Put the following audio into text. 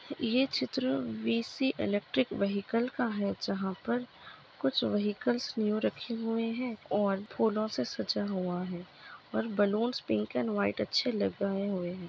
ये चित्र VC electric vehicle का हैं जहाँ पर कुछ वेहिकल न्यू रखे हुए हैं और फूलो से सजा हुआ हैं और बलून्स पिंक अँड वाइट अच्छे लगाए हुए है।